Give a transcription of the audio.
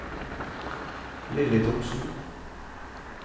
Lilly Thomsen